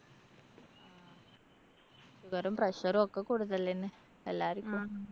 sugar ഉം pressure ഒക്കെ കൂടുതല് തന്നെ. എല്ലാരും ഇപ്പം